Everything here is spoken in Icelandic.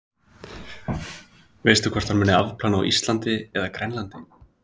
Sunna: Veistu hvort hann muni afplána á Íslandi eða Grænlandi?